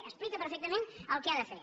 explica perfectament el que ha de fer